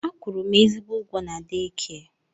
A kwụrụ m ezigbo ụgwọ na deekia.